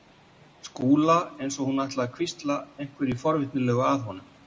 Skúla eins og hún ætlaði að hvísla einhverju forvitnilegu að honum.